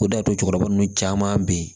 O de y'a to cɛkɔrɔba nun caman bɛ yen